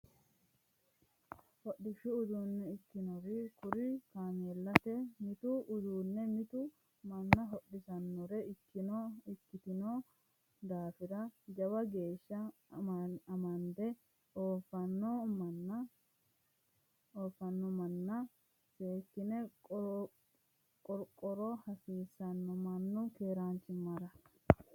Hodishshu uduune ikkitinori kuri kaameellate mitu uduune mitu manna hodhisanore ikkitino daafira jawa geeshsha amande oofano mannano seekkine qorqora hasiisano mannu keeranchimara.